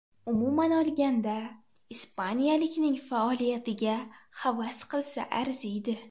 Umuman olganda, ispaniyalikning faoliyatiga havas qilsa arziydi.